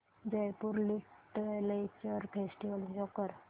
Jaipur literature festival show कर